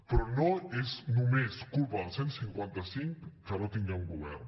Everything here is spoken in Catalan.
però no és només culpa del cent i cinquanta cinc que no tinguem govern